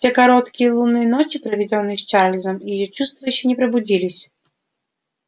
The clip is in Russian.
в те короткие лунные ночи проведённые с чарльзом её чувства ещё не пробудились